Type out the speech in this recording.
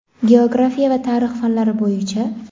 geografiya va tarix fanlari bo‘yicha.